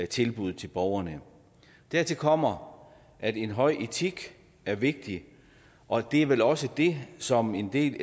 tilbud til borgerne dertil kommer at en høj etik er vigtigt og det er vel også det som en del